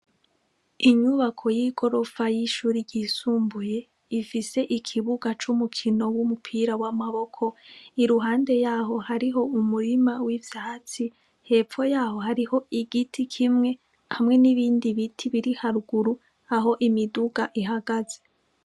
Inyubako y'igorofa y'ishuri ryisumbuye ifise ikibuga c'umukino w'umupira w'amaboko iruhande yaho hariho umurima w'ivyatsi hepfo yaho hariho igiti kimwe hamwe n'ibindi biti biri haruguru aho imiduga ihagaze.